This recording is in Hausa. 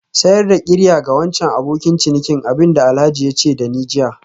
Sayar da qirya ga wancan abokin ciniki abin da Alhaji ya ce da ni jiya